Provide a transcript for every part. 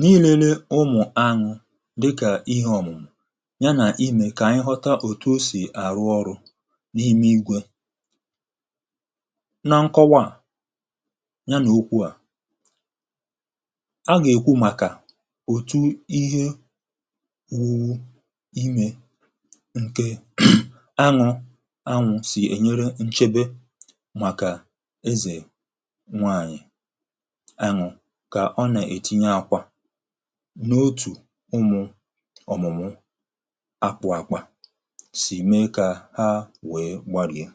n’ìrėne ụmụ̀ anụ̀ dịkà ihe ọ̀mụ̀ yà nà imė kà ànyị ghọta òtù o sì àrụ ọrụ̇ n’ime ìgwė na nkọwa à yà nà okwu à a gà-èkwu um màkà òtu ihe wùwù imė ǹke anụ̇ anụ̇ sì ènyere nchebe màkà ezè nwaànyị̀ ọ nà-ètinye àkwà n’otù ụmụ̀ ọ̀mụ̀mụ̀ akpụ̇ àkwà sì mee kà ha wèe gbàrị̀ yà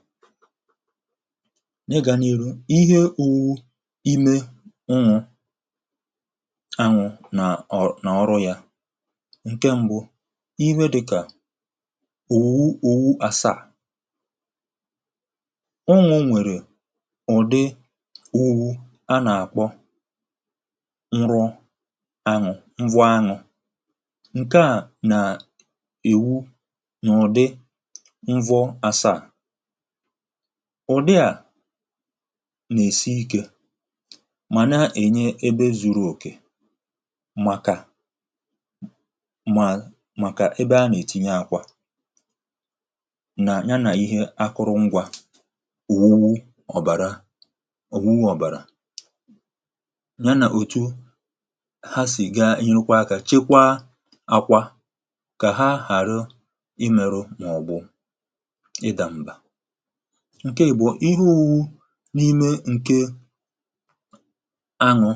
ne gà-èru, ihe òwu ime ụnụ̀ anwụ̇ nà ọ̀ nà ọrụ yà ǹke ṁbụ̇ iwe dịkà òwu òwu asaa ụnụ̀ nwèrè ụ̀dị ùwu a nà-àkpọ aṅụ̀ m̀vụ aṅụ̀ ǹke à nà-èwu nà ụ̀dị m̀vụ àsaa ụ̀dị à nà-èsi ikė màna ènye ebe zuru òkè màkà mà màkà ebe a nà-ètinye ákwà nà ànyị yà um nà ihe akụrụngwȧ òwùwù ọ̀bàrà ha sì gà-enyekwa akȧ chekwa àkwà kà ha ghàrịụ imėrụ màọ̀bụ̀ ịdàm̀bà ǹke àbọ̀ ihu n’ime ǹke anụ̇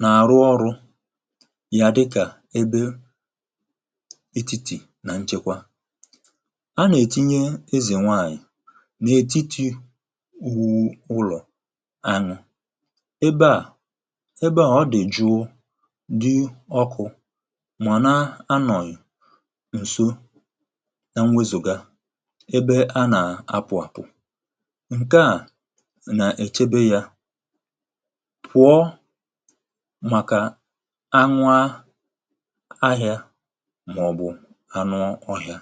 nà-àrụ ọrụ yà dịkà ebe etìtì nà nchekwa a nà-ètinye ezè nwaànyị̀ nà-ètiti wùwù ụlọ̀ anyụ̇ ebe à dị ọkụ̇ um màna anọ̀yì ǹso yà nwezòga ebe a nà-àpụ àpụ̀ ǹke à nà-èchebe yȧ kwụ̀ọ màkà anwa ahị̇ȧ màọ̀bụ anụ ọhịȧ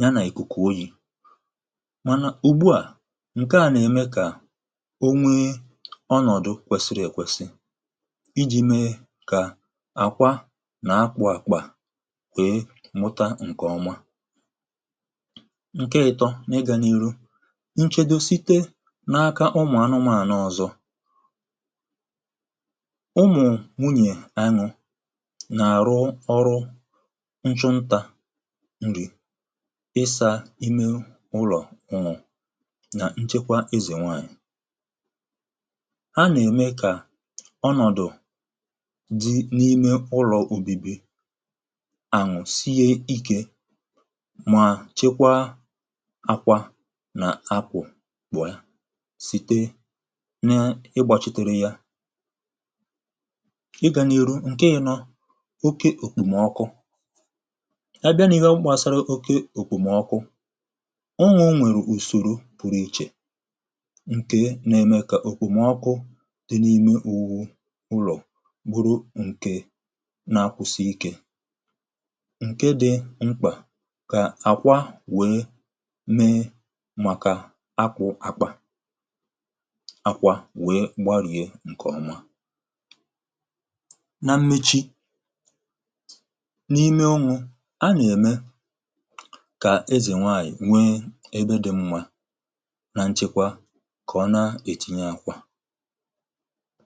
yà nà-èkùkù oyi̇ mànà ùgbuà ǹke à nà-ème kà onwe ọnọ̀dụ̀ kwèsìrì èkwèsì àkwà nà akpụ̇ àkpà kwèe mụta ǹkè ọma ǹke ịtọ n’ịgànihu nchedo site n’aka ụmụ̀ anụmȧnụ̀ ọ̀zọ ụmụ̀ nwunyè anyụ nà-àrụ ọrụ nchụntà nrì ịsȧ imė ụlọ̀ ụnọ̀ nà nchekwa ezènwe ànyị̀ dị n’ime ụlọ̀ ubìbi ànwụ̀ sie ikė um mà chekwa àkwà nà akwụ̀ bụ̀ yà site na-ịgbàchị̀tere yȧ ịgànyeru ǹke yà nà oke òkpòmọkụ a bịa nà ịhe mkpàsara oke òkpòmọkụ ọọ nwèrè ùsòrò pụrụ ichè ǹkè nà-ème kà òkpòmọkụ gburu ǹke na-akwụsị ikė ǹke dị̇ mkpà kà àkwà wèe mee màkà akwụ̇ akpà àkwà wèe gbarìe ǹkè ọma na mmechi n’ime ụnwụ̇ a nà-ème kà ezè nwaànyị̀ wèe ebe dị̇ mwȧ nà nchekwa um kà ọ na-ètìnyè àkwà